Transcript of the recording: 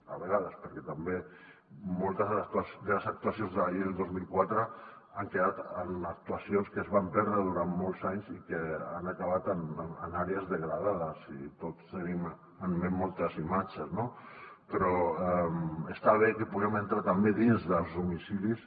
a vegades perquè també moltes de les actuacions de la llei de dos mil quatre han quedat en actuacions que es van perdre durant molts anys i han acabat en àrees degradades i tots en tenim en ment moltes imatges no però està bé que puguem entrar també dins dels domicilis